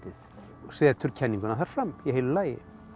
og setur kenninguna þar fram í heilu lagi